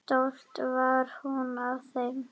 Stolt var hún af þeim.